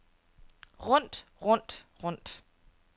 rundt rundt rundt